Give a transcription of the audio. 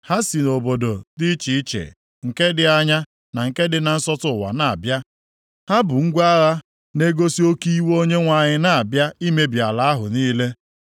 Ha si nʼobodo dị iche iche, nke dị anya na nke dị na nsọtụ ụwa na-abịa. Ha bu ngwa agha na-egosi oke iwe Onyenwe anyị na-abịa imebi ala ahụ niile.